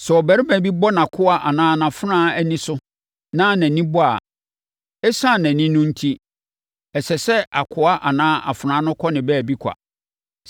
“Sɛ ɔbarima bi bɔ nʼakoa anaa nʼafenawa ani so ma nʼani bɔ a, ɛsiane nʼani no enti, ɛsɛ sɛ akoa anaa afenaa no kɔ ne baabi kwa.